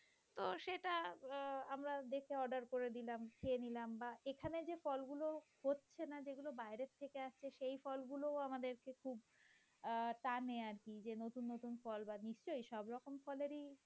তো সেটা আহ আমরা দেখে order করে দিলাম। খেয়ে নিলাম বা এখানে যে ফলগুলো হচ্ছে না যেগুলো বাইরে থেকে সেই ফলগুলো আমাদেরকে খুব টানে আরকি যে নতুন নতুন ফল নিশ্চয়ই সব রকম ফলেরই